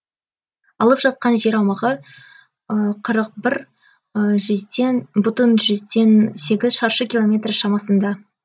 алып жатқан жер аумағы қырық бір жүзден бүтін сегіз шаршы километр шамасында